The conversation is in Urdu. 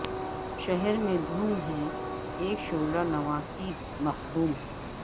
شہر میں دھوم ہے اک شعلہ نوا کی مخدوم